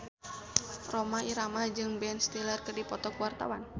Rhoma Irama jeung Ben Stiller keur dipoto ku wartawan